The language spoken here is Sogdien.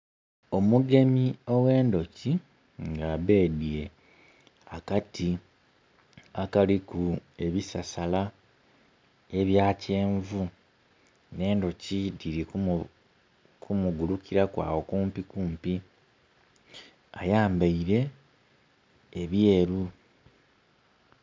Omugemi oghendhoki nga abedhye akati akaliku ebisasala ebya kyenvu nhe ndhoki dhiru kumugulukiraku agho kumpi kumpi ayambeire ebyeru.